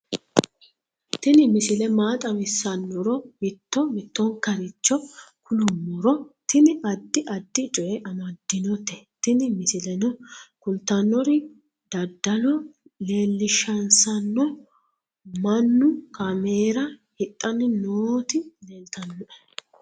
tini misile maa xawissannoro mito mittonkaricho kulummoro tini addi addicoy amaddinote tini misileno kultannoridadalo leelishhsanno mannu kaamera hidhanni nooti leeltannoe